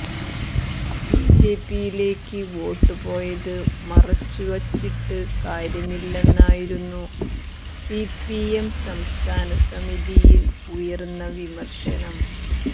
ബിജെപിയിലേക്ക് വോട്ടുപോയത് മറച്ചുവച്ചിട്ട് കാര്യമില്ലെന്നായിരുന്നു സിപിഎം സംസ്ഥാന സമിതിയിൽ ഉയർന്ന വിമർശനം